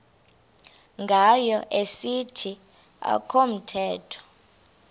ngayo esithi akamthembi